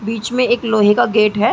बीच में एक लोहे का गेट है।